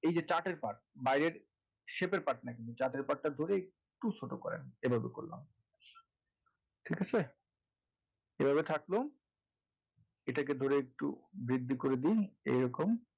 এই যে chart এর part বাইরের shaip এর part না কিন্তু part টা ধরে একটু ছোটো করেন এভাবে করলাম ঠিক আছে? এভাবে থাকলো এটাকে ধরে একটু বৃদ্ধি করে দিন এরকম,